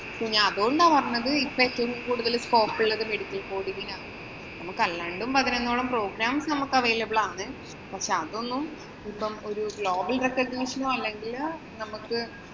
ഞാന്‍ അതുകൊണ്ടാ പറഞ്ഞേ ഇപ്പൊ ഏറ്റവും കൂടുതല്‍ scope ഉള്ളത് medical coding ഇനാണ്. നമുക്ക് അല്ലാണ്ടും പതിനൊന്നോളം programs available ആണ്. പക്ഷേ, അതൊന്നും ഇപ്പം ഒരു global recognition ഓ, അല്ലെങ്കില്‍ നമുക്ക്